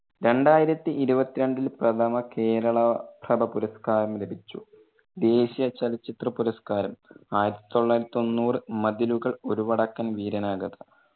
രണ്ടായിരത്തി ഇരുപത്തിരണ്ടിൽ പ്രഥമ കേരള പ്രഭ പുരസ്‌കാരം ലഭിച്ചു. ദേശിയ ചലച്ചിത്ര പുരസ്കാരം ആയിരത്തി തൊള്ളായിരത്തി തൊണ്ണൂറ് മതിലുകൾ, ഒരു വടക്കൻ വീരണഗാഥ.